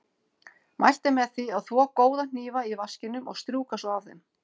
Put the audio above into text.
Mælt er með því að þvo góða hnífa í vaskinum og strjúka svo af þeim.